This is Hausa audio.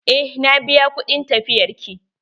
Eh na biya kuɗin tafiyar ki.